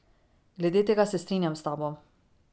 Glede tega se strinjam s tabo.